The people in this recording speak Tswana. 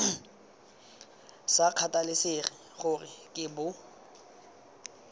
sa kgathalesege gore ke bo